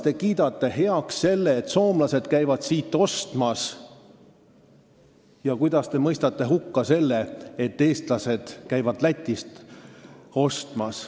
Te kiidate heaks selle, et soomlased käivad siit ostmas, aga mõistate hukka selle, et eestlased käivad Lätist ostmas.